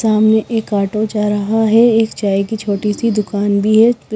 सामने एक ऑटो जा रहा है एक चाय की छोटी सी दुकान भी है --